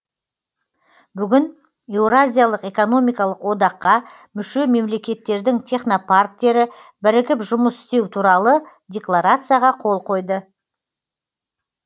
бүгін еуразиялық экономикалық одаққа мүше мемлекеттердің технопарктері бірігіп жұмыс істеу туралы декларацияға қол қойды